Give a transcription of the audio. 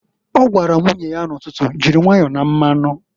O gwara nwunye ya n'ụtụtụ, "Jiri nwayọ na mmanụǃ"